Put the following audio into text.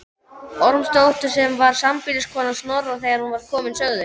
Ormsdóttur sem var sambýliskona Snorra þegar hér var komið sögu.